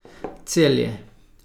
Celje.